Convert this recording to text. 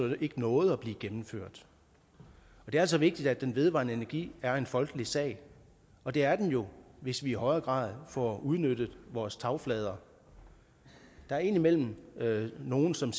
ikke nåede at blive gennemført det er altså vigtigt at den vedvarende energi er en folkelig sag og det er den jo hvis vi i højere grad får udnyttet vores tagflader der er indimellem nogle som